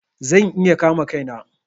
Zan iya kama Kai na.